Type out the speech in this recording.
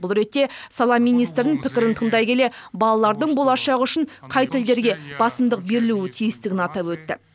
бұл ретте сала министрінің пікірін тыңдай келе балалардың болашағы үшін қай тілдерге басымдық берілу тиістігін атап өтті